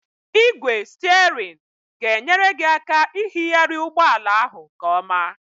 Ị́gwè stierinu ga-enyere gị aka ihighari ụgbọala ahụ nkeọma.